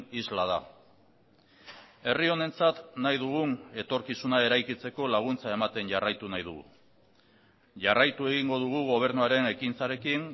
isla da herri honentzat nahi dugun etorkizuna eraikitzeko laguntza ematen jarraitu nahi dugu jarraitu egingo dugu gobernuaren ekintzarekin